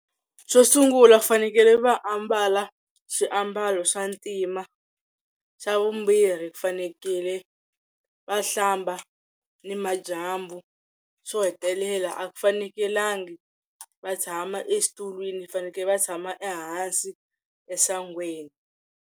Xo sungula ku fanekele va ambala swiambalo swa ntima xa vumbirhi ku fanekele va hlamba ni madyambu xo hetelela a ku fanekelangi va tshama exitulwini fanekele va tshama ehansi esangweni.